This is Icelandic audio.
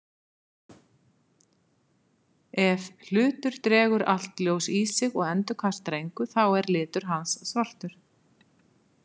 Ef hlutur dregur allt ljós í sig og endurkastar engu þá er litur hans svartur.